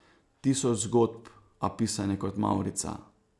Tisoč zgodb, a pisane kot mavrica.